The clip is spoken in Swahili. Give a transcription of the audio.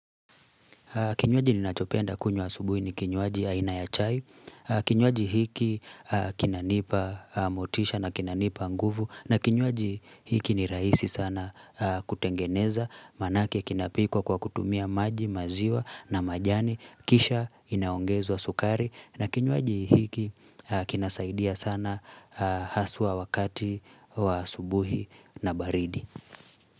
Kinywaji ni nachopenda kunywa asubuhi ni kinywaji aina ya chai, kinywaji hiki kinanipa motisha na kinanipa nguvu, na kinywaji hiki ni raisi sana kutengeneza, maanake kinapikwa kwa kutumia maji maziwa na majani, kisha inaongezo wa sukari, na kinywaji hiki kinasaidia sana haswa wakati wa asubuhi na baridi.